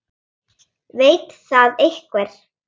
Veit það einhver?